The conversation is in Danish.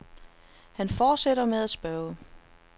Han fortsætter med at spørge.